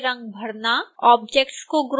आकृतियों में रंग भरना